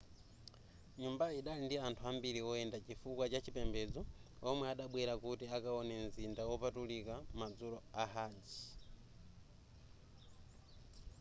nyumbayi idali ndi anthu ambiri woyenda chifukwa chachipembedzo omwe adabwera kuti akawone mzinda wopatulika madzulo a hajj